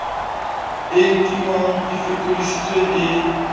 e nkuwang e fokoditswe e